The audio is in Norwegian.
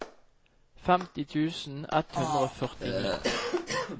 femti tusen ett hundre og førtini